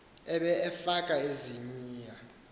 abe efaka iziniya